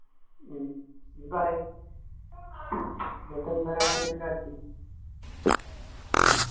ഹും നീ പറീ